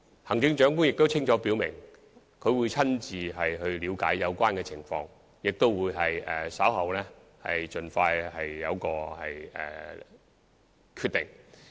行政長官亦清楚表明會親自了解有關情況，稍後亦會盡快作出決定。